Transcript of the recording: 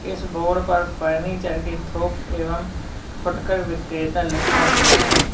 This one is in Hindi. इस बोर्ड पर फर्नीचर के थोक एवं फुटकर विक्रेता लिखा हुआ है।